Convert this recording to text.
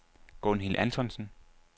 Gunhild Antonsen